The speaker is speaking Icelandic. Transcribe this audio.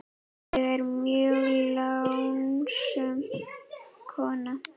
Ég er mjög lánsöm kona.